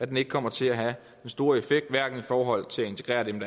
den ikke kommer til at have den store effekt hverken i forhold til at integrere dem